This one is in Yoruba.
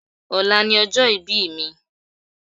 Ọ̀la ni ọjọ́ ìbí mi